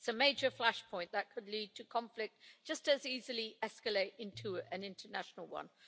It is a major flashpoint that could lead to conflict and just as easily escalate into an international one.